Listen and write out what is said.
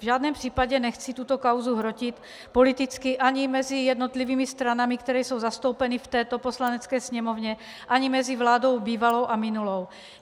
V žádném případě nechci tuto kauzu hrotit politicky ani mezi jednotlivými stranami, které jsou zastoupeny v této Poslanecké sněmovně, ani mezi vládou bývalou a minulou.